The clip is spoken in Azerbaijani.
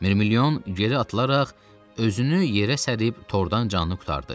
Mirmilyon geri atılaraq özünü yerə sərib tordan canını qurtardı.